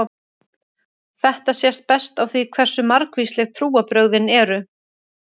Þetta sést best á því hversu margvísleg trúarbrögðin eru.